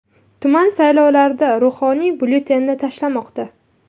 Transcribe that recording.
Tuman saylovlarida ruhoniy byulletenini tashlamoqda.